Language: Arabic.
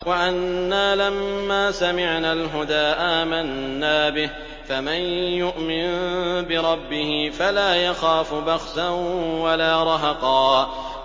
وَأَنَّا لَمَّا سَمِعْنَا الْهُدَىٰ آمَنَّا بِهِ ۖ فَمَن يُؤْمِن بِرَبِّهِ فَلَا يَخَافُ بَخْسًا وَلَا رَهَقًا